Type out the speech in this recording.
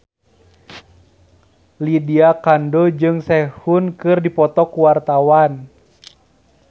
Lydia Kandou jeung Sehun keur dipoto ku wartawan